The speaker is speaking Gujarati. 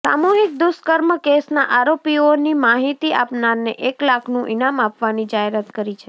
સામૂહિક દુષ્કર્મ કેસના આરોપીઓની માહિતી આપનારને એક લાખનું ઇનામ આપવાની જાહેરાત કરી છે